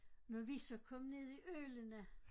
Når vi så kom ned i Ølene